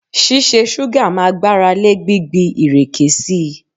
Ṣísẹ ṣúgà máa gbáralé gbígbí ìrèké sí i.